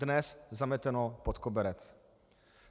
Dnes zameteno pod koberec.